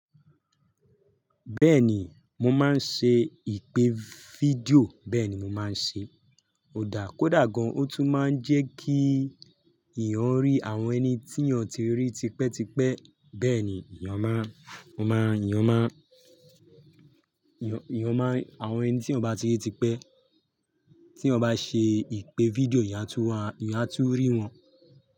Bẹ́ẹ̀ni, mo máa ń ṣe ìpè fídíò bẹ́ẹ̀ ni mo máa ń ṣe. Ó dà kódà gan, o tún máa ń jẹ́ kí ìyẹn rí àwọn ẹni tí ìyẹn ti rí tipẹ́ tipẹ́ bẹ́ẹ̀ ni ìyan má, mo má, ìyan má, ìyan, ìyan má, àwọn ẹni tí ìyan bá ti rí tipẹ́ tí ìyan bá ṣe ìpè fídíò ìyan á tú, ìyan á tú rí wọn.